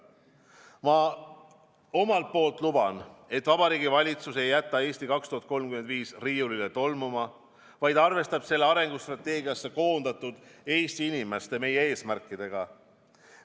Ma omalt poolt luban, et Vabariigi Valitsus ei jäta "Eesti 2035" riiulile tolmuma, vaid arvestab selle arengustrateegiasse koondatud Eesti inimeste – meie – eesmärkidega.